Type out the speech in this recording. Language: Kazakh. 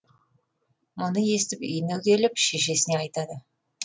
мұны естіп үйіне келіп шешесіне айтады